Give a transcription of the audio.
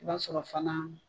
I b'a sɔrɔ fana